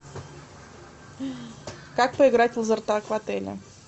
как поиграть в лазертаг в отеле